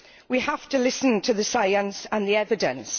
We have to listen to the science and the evidence.